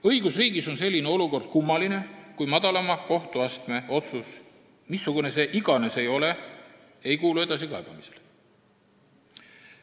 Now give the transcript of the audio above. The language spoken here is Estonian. Õigusriigis on selline olukord kummaline, kui madalama kohtuastme otsus, missugune see iganes ka ei ole, ei kuulu edasikaebamisele.